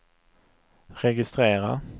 registrera